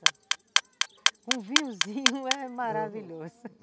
Com um vinhozinho é maravilhoso.